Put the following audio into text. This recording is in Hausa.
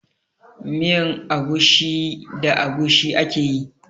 Miyan agushi da agushi ake yi.